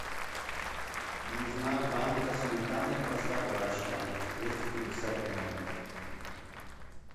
нужна банка сметаны простоквашино двести пятьдесят грамм